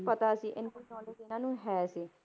ਪਤਾ ਸੀ ਇੰਨੀ knowledge ਇਹਨਾਂ ਨੂੰ ਹੈ ਸੀ,